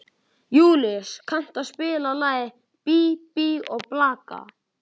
Júlíus, kanntu að spila lagið „Bí bí og blaka“?